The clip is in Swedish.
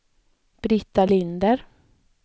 Britta Linder